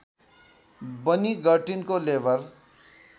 बनी गर्टिनको लेबर